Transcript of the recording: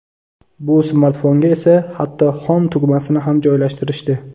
Bu smartfonga esa hatto Home tugmasini ham joylashtirishdi.